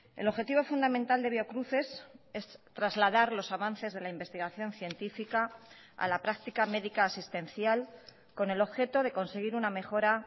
el objetivo fundamental de biocruces es trasladar los avances de la investigación científica a la práctica médica asistencial con el objeto de conseguir una mejora